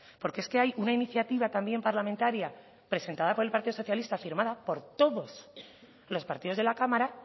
porque es que hay una iniciativa también parlamentaria presentada por el partido socialista firmada por todos los partidos de la cámara